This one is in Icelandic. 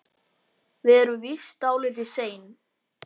Við erum víst dálítið sein.